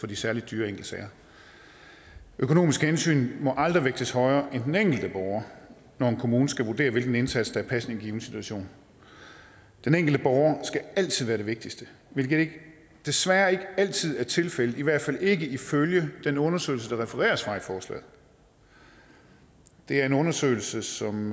de særlig dyre enkeltsager økonomiske hensyn må aldrig vægtes højere end den enkelte borger når en kommune skal vurdere hvilken indsats der er passende i en given situation den enkelte borger skal altid være det vigtigste hvilket desværre ikke altid er tilfældet i hvert fald ikke ifølge den undersøgelse der refereres fra i forslaget det er en undersøgelse som